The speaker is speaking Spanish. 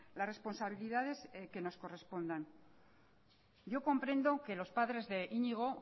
las responsabilidades que nos correspondan yo comprendo que los padres de iñigo